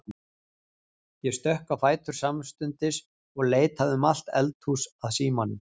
Ég stökk á fætur samstundis og leitaði um allt eldhús að símanum.